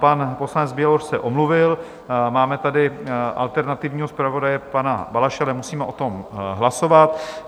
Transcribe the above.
Pan poslanec Bělor se omluvil, máme tady alternativního zpravodaje pana Balaše, ale musíme o tom hlasovat.